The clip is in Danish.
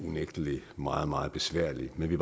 unægtelig meget meget besværlig men vi